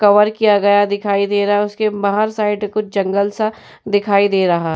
Cover किया गया दिखाई दे रहा है। उसके बाहर साइड कुछ जंगल सा दिखाई दे रहा।